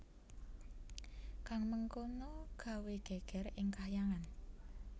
Kang mengkono gawé gègèr ing Kahyangan